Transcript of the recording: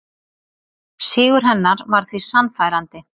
Sigur hennar var því sannfærandi